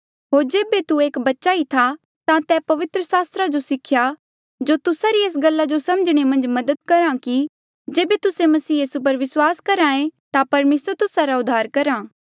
होर जेबे तू एक बच्चा ई था ता तैं पवित्र सास्त्रा जो सिख्या जो तुस्सा री एस गल्ला जो समझणे मन्झ मदद करहा कि जेबे तुस्से मसीह यीसू पर विस्वास करहे ता परमेसर तुस्सा रा उद्धार करहा